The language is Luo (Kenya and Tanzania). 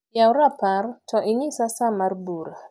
yaw rapar to inyisa saa mar bura